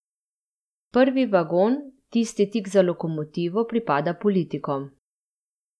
Prvi vagon, tisti tik za lokomotivo, pripada politikom.